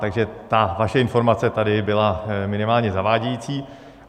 Takže ta vaše informace tady byla minimálně zavádějící.